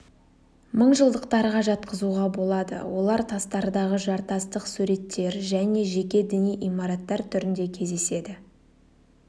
мыңжылдықтарға жатқызуға болады олар тастардағы жартастық суреттер және жеке діни имараттар түрінде кездеседі